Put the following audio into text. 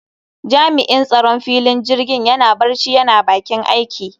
Jami'in tsaron filin jirgin yana barci yana bakin aiki